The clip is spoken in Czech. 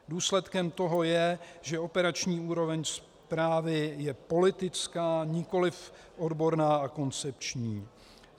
Důsledkem toho je, že operační úroveň správy je politická, nikoliv odborná a koncepční.